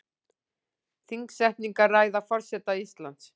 Þingsetningarræða forseta Íslands